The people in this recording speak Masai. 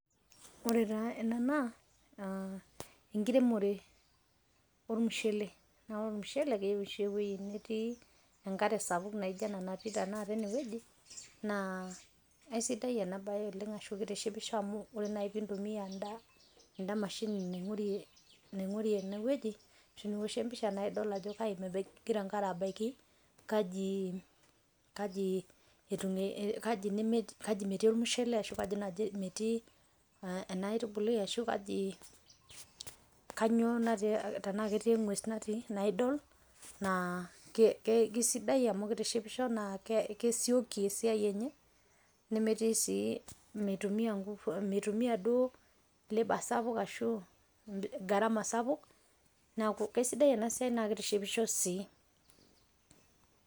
Ore taa ena naa enkiremore omushele, naa ore mushele keyeu oshi eweji netii enkare sapuk naijo ana taata ene weji, naa esidai ana bae oleng ashu keitishipisho amu ore piintumia anda mashini naing'urie ene weji nioshie empisha naa idolo ajo kaji mebaki egira abaki, kaji metii lmushele ashu kaji metii ana aitubuli, kainyoo natii ashu tanaa ketii engwes natii naa idol naa kesidai amu keitishipisho naa kesioki esiai enye nemetii sii meitumia enguvu meitumia duo labor sapuk ashu gharama sapuk naaku kesidai ana siai naa keitishipisho sii.